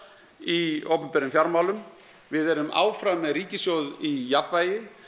í opinberum fjármálum við erum áfram með ríkissjóð í jafnvægi